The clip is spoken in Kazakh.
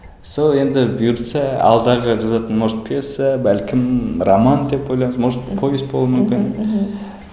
сол енді бұйыртса алдағы жазатын может пьеса бәлкім роман деп ойлаймын может повесть болуы мүмкін мхм мхм